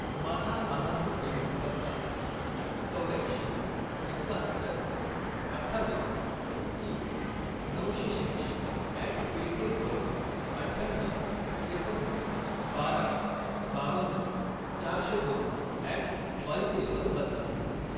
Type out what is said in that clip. माझा आभासी पेमेंट पत्ता चौर्याऐंशी, एक्काहत्तर, अठ्ठावीस, तीस, नऊशे शहाऐंशी अॅट पेटीएम वरून अठ्ठ्याण्णऊ, त्रेपन्न, बारा, बावन्न, चारशे दोन अॅट वायबीएल वर बदला